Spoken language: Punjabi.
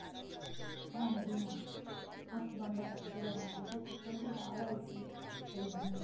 ਹਾਂਜੀ ਹਾਂ ਅੱਖ ਬੰਦ ਕਰਕੇ ਲਗਾਣਾ ਫ਼ੇਰ ਸੁੱਕਣ ਤੋ ਬਾਅਦ eyes ਖੋਲਣੀਆਂ